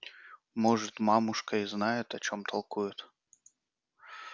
может мамушка и знает о чём толкует